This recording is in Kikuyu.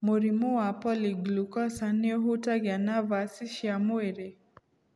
Mũrimũ wa Polyglucosan nĩ ũhutagia navaci cia mwĩrĩ